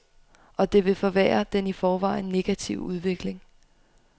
Og det vil forværre den i forvejen negative udvikling.